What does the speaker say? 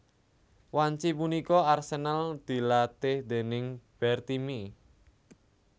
Wanci punika Arsenal dilatih déning Bertie Mee